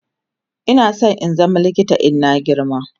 Ina San in zama likita in na girma